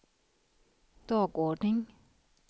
dagordning